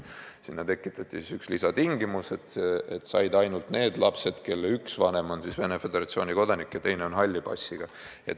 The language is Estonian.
Sinna tekitati vaid üks lisatingimus, et saaks ainult need lapsed, kelle üks vanem on Venemaa Föderatsiooni kodanik ja teine on halli passiga.